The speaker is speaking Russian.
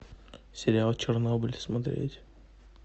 сериал чернобыль смотреть